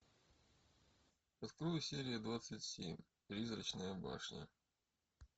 открой серия двадцать семь призрачная башня